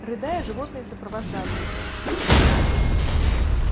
рыдая животные сопровождали его